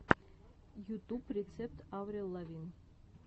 ютуб рецепт аврил лавин